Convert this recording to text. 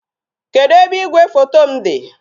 Kedu ebe igwefoto m dị?